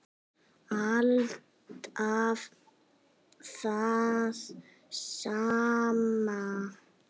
Alltaf það sama.